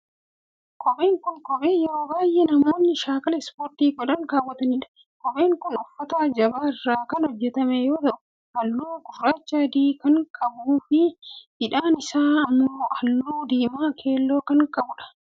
Kopheen kun, kophee yeroo baay'ee namoonni shaakala ispoortii godhan kaawwatanii dha. Kopheen kun, uffata jabaa irraa kan hojjatame yoo ta'u, haalluu gurraacha adii kan qabuu fi hidhaan isaa immoo haalluu diimaa keelloo kan qabuu dha.